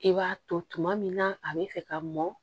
I b'a to tuma min na a be fɛ ka mɔn